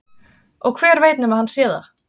Og hver veit nema hann sé það?